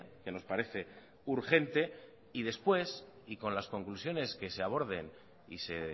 que nos parece urgente y después y con las conclusiones que se aborden y se